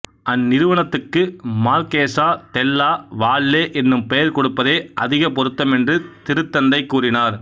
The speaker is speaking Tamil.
அந்நிறுவனத்துக்கு மர்க்கேசா தெல்லா வால்லே என்னும் பெயர்கொடுப்பதே அதிகப் பொருத்தம் என்று திருத்தந்தை கூறினார்